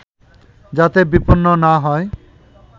যাতে বিপন্ন না হয়